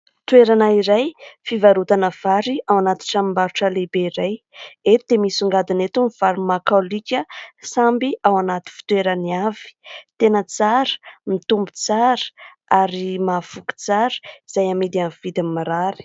Toerana iray fivarotana vary ao anaty tranombarotra lehibe iray. Eto dia misongadina eto ny vary makaolika samy ao anaty fitoerany avy, tena tsara, mitombo tsara ary mahavoky tsara, izay amidy amin'ny vidiny mirary.